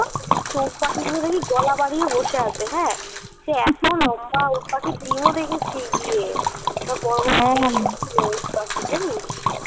উটপাখি গুলো দেখি গলা দাড়িয়ে বসে আছে হ্যা সে এতো লম্বা উটপাখির ডিম ও দেখি ইয়ে তো বড় বড় জানিস